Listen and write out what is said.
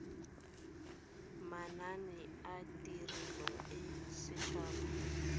manane a tirelo a setshaba